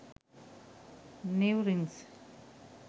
new rings